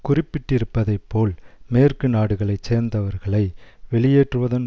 குறிப்பிட்டிருப்பதைப் போல் மேற்கு நாடுகளை சேர்ந்தவர்களை வெளியேற்றுவதன்